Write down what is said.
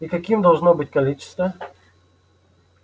и каким должно быть количество